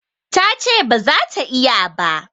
Ta ce ba za ta iya ba.